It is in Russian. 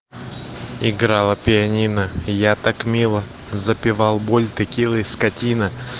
играло пианино я так мило запивал боль текилой скотина